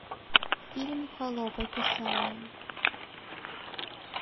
фильм холоп описание